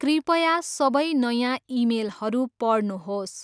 कृपया सबै नयाँ इमेलहरू पढ्नुहोस्।